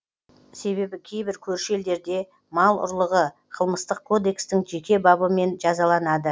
себебі кейбір көрші елдерде мал ұрлығы қылмыстық кодекстің жеке бабымен жазаланады